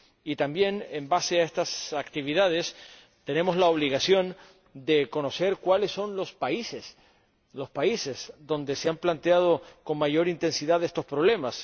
Y también, con base en estas actividades, tenemos la obligación de conocer cuáles son los países donde se han planteado con mayor intensidad estos problemas.